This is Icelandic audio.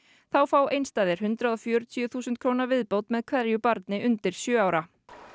þá fá einstæðir hundrað og fjörutíu þúsund króna viðbót með hverju barni undir sjö ára